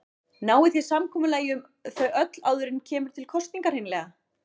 Náið þið samkomulagi um þau öll áður en kemur til kosninga hreinlega?